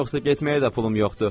Yoxsa getməyə də pulum yoxdur.